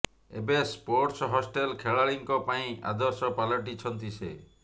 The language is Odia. ଏବେ ସ୍ପୋର୍ଟସ ହଷ୍ଟେଲ ଖେଳାଳିଙ୍କ ପାଇଁ ଆଦର୍ଶ ପାଲଟିଛନ୍ତି ସେ